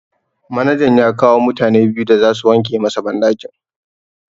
Manajan ya kawo mutane biyu da zasu wanke masa banɗakin.